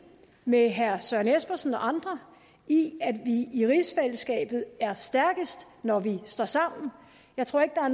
med herre søren espersen og andre i at vi i rigsfællesskabet er stærkest når vi står sammen jeg tror ikke at